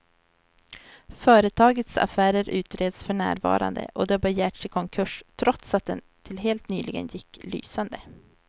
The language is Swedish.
Företagets affärer utreds för närvarande och det har begärts i konkurs, trots att det till helt nyligen gick lysande.